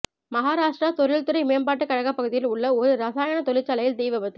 மகாராஷ்டிரா தொழில்துறை மேம்பாட்டுக் கழக பகுதியில் உள்ள ஒரு இரசாயன தொழிற்சாலையில் தீ விபத்து